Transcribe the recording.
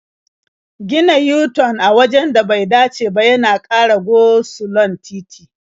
Gina yu-tan a wajen da bai dace ba yana ƙara go-sulon titi.